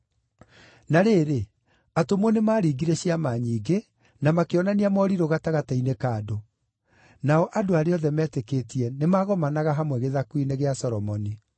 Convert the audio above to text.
Na rĩrĩ, atũmwo nĩmaringire ciama nyingĩ, na makĩonania morirũ gatagatĩ-inĩ ka andũ. Nao andũ arĩa othe metĩkĩtie nĩmagomanaga hamwe Gĩthaku-inĩ gĩa Solomoni.